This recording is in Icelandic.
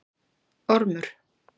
Ormur